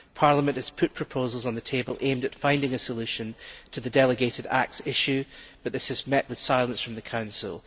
Parliament has put proposals on the table aimed at finding a solution to the delegated acts issue, but this has met with silence from the Council.